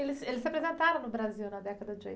Eles, eles se apresentaram no Brasil na década de